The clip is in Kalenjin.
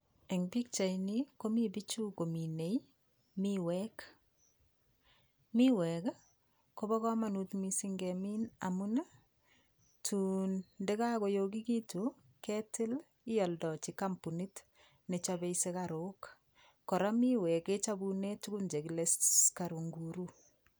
Eng' pikchaini komi biichu kominei miwek miwek kobo komonut mising' ngemin amun tuun ndikakoyokikitu ketil ioldoji kampunit nechopei sikarok kora miwek kechopune tukun chekile sukarok nguru